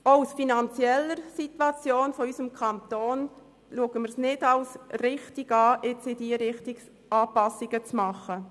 Auch aus Sicht der finanziellen Situation des Kantons erachten wir es als nicht richtig, Anpassungen in diese Richtung zu machen.